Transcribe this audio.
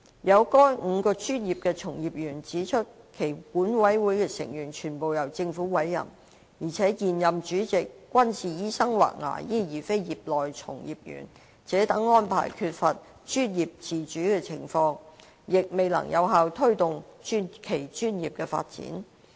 有該5個專業的從業員指出，其管委會的成員全部由政府委任，而且現任主席均是醫生或牙醫而非業內從業員；該等安排造成缺乏專業自主的情況，亦未能有效推動其專業的發展。